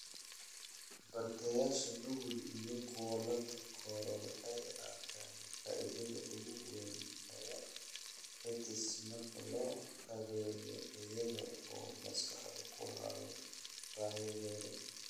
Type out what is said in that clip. Bartayaasha nugul iyo kuwa la takooro waxay arkaan faa'iidada ugu weyn ee EdTech marka loo qaabeeyo iyaga oo maskaxda ku haya baahiyahooda.